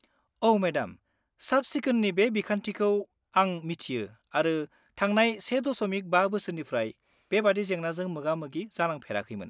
औ मेडाम, साब-सिखोननि बे बिखान्थिखौ आं मिथियो आरो थांनाय 1.5 बोसोरनिफ्राय बेबादि जेंनाजों मोगा-मोगि जानांफेराखैमोन।